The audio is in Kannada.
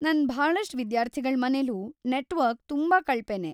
ನನ್‌ ಭಾಳಷ್ಟ್ ವಿದ್ಯಾರ್ಥಿಗಳ್ ಮನೆಲೂ ನೆಟ್ವರ್ಕ್‌ ತುಂಬಾ ಕಳಪೆನೇ.